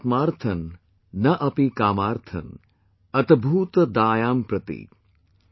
Na Aatmarthan Na Api Kaamartham Atbhoot Dayam Prati